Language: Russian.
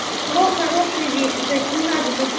про хорошие вещи то есть не надо